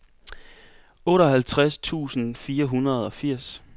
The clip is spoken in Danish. otteoghalvtreds tusind fire hundrede og firs